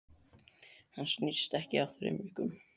Hann snýst ekki á þrem vikum.